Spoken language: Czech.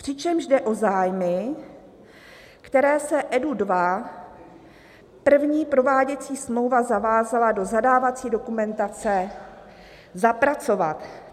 "Přičemž jde o zájmy, které se EDU II první prováděcí smlouvou zavázala do zadávací dokumentace zapracovat."